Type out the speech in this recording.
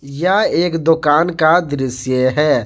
यह एक दुकान का दृश्य है।